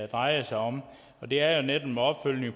drejer sig om det er jo netop en opfølgning